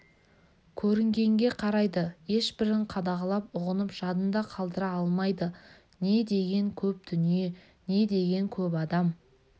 көрінгенге қарайды ешбірін қадағалап ұғынып жадында қалдыра алмайды не деген көп дүние не деген көп адам